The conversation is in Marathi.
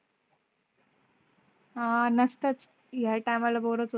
आह नसताच या टाइम ला बोर च.